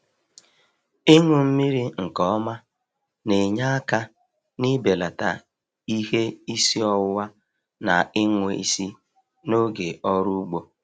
Ịṅụ mmiri nke ọma na-enye aka n'ibelata ihe isi ọwụwa na ịṅwụ isi n'oge ọrụ ugbo.